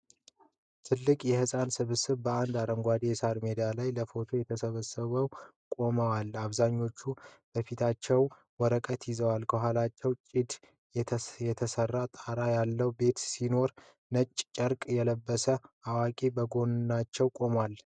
ትልቅ የህፃናት ስብስብ በአንድ አረንጓዴ የሳር ሜዳ ላይ ለፎቶ ተሰብስበው ቆመዋል፤ አብዛኞቹ በፊታቸው ወረቀት ይዘዋል። ከኋላቸው ጭድ የተሰራ ጣራ ያለው ቤት ሲኖር፣ ነጭ ጨርቅ የለበሰ አዋቂ ከጎናቸው ቆሟል።